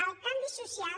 el canvi social